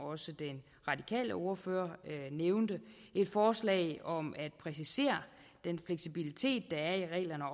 også den radikale ordfører nævnte et forslag om at præcisere den fleksibilitet der er i reglerne